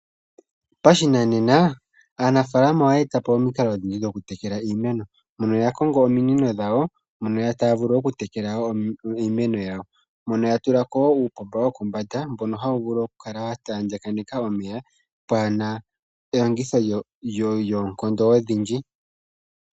Pashinanena aanafalama oye etapo omikalo odhindji dhokutekela iimeno mono ya kongo ominino dhawo mono taya vulu okutekela iimeno yawo mono ya tulako wo uupomba wokombanda mbono hawu vulu okukala wa taaganeka omeya mpwaana elongitho lyoonkondo odhindji.